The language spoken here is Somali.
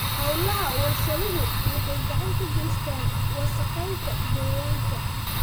Hawlaha warshaduhu waxay gacan ka geystaan ??wasakheynta deegaanka.